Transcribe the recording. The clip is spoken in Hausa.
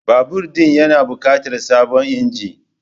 Babur ɗin ya na bukatar sabon inji